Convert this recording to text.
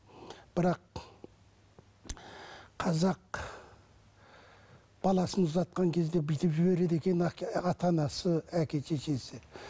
бірақ қазақ баласын ұзатқан кезде бүйтіп жібереді екен ата анасы әке шешесі